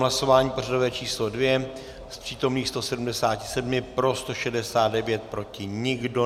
Hlasování pořadové číslo 2: z přítomných 177 pro 169, proti nikdo.